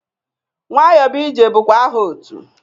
Nwayọbụije bụkwa aha otu.